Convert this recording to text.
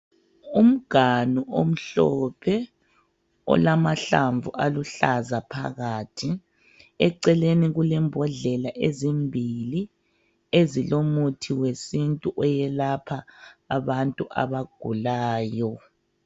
Umganu omhlophe olamahlamvu aluhlaza phakathi. Eceleni kulembodlela ezimbili ezilomuthi wesintu oyelapha abantu abagulayo.